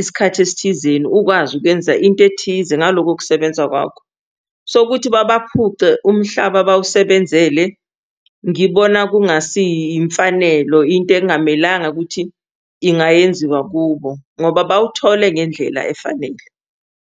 isikhathi esithizeni ukwazi ukwenza into ethize ngaloko kusebenza kwakho. So, ukuthi babaphuce umhlaba abawusebenzele ngibona kungasiyimfanelo, yinto ekungamelanga ukuthi ingayenziwa kubo ngoba bawuthole ngendlela efanele.